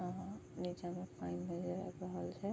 आ नीचे में पएन नजर आब रहल छै।